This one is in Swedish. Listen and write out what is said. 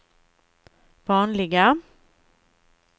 vanliga